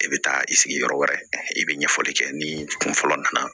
I bɛ taa i sigi yɔrɔ wɛrɛ i bɛ ɲɛfɔli kɛ ni kun fɔlɔ nana